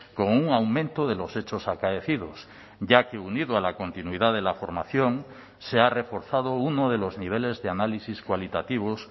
con un aumento de los hechos acaecidos ya que unido a la continuidad de la formación se ha reforzado uno de los niveles de análisis cualitativos